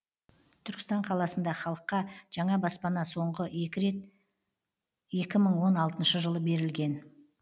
түркістан қаласында халыққа жаңа баспана соңғы рет екі мың он алтыншы жылы берілген